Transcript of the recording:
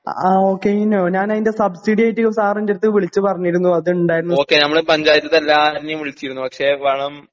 ആ ആ ഓ കൈനോ? ഞാനയിൻ്റെ സബ്‌സിഡിയായിട്ട് സർ എൻ്റടുത്ത് വിളിച്ചു പറഞ്ഞിരുന്നു അതിണ്ടാരുന്നു